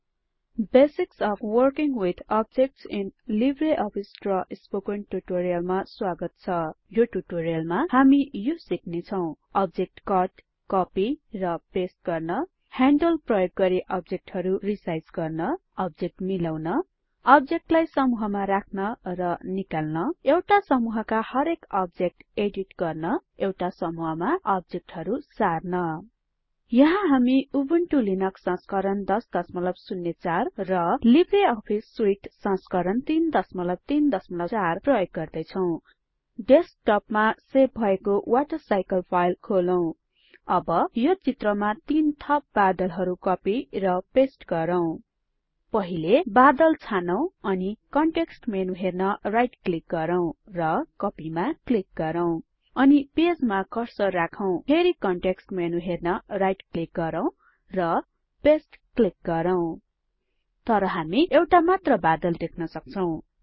basics of working with objects in LibreOffice Draw spoken टुटोरियलमा स्वागत छ यो टुटोरियलमा हामी यो सिक्ने छौं अब्जेक्ट कट कपि र पेस्ट गर्न ह्यान्डल प्रयोग गरि अब्जेक्टहरु रिसाइज गर्न अब्जेक्ट मिलाउन अब्जेक्टलाई समूहमा राख्न र निकाल्न एउटा समूहका हरेक अब्जेक्ट एडिट गर्न एउटा समूहमा अब्जेक्टहरु सार्न यहाँ हामी उबुन्टु लिनक्स संस्करण 1004 र लिब्रे अफिस सुइट संस्करण ३३४ प्रयोग गर्दै छौं डेस्कटपमा सेभ भएको वाटरसाइकल फाइल खोलौं अब यो चित्रमा तीन थप बादलहरु कपि र पेस्ट गरौँ पहिले बादल छानौं अनि कनटेक्स्ट मेनु हेर्न राइट क्लिक गरौँ र कोपी मा क्लिक गरौँ अनि पेजमा कर्सर राखौं फेरि कनटेक्स्ट मेनु हेर्न राइट क्लिक गरौँ र पस्ते क्लिक गरौँ तर हामी एउटा मात्र बादल देख्न सक्छौं